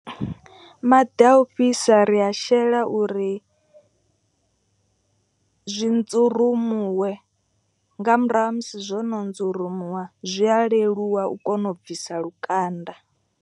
Maḓi a u fhisa ri a shela uri zwi nzurumuwe. Nga murahu ha musi zwono nzurumuwa zwi a leluwa u kona u bvisa lukanda.